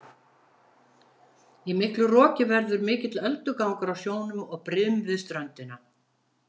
Í miklu roki verður mikill öldugangur á sjónum og brim við ströndina.